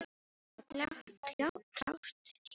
Það var klárt hjá þeim, sagði Emil.